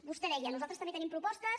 vostè deia nosaltres també tenim propostes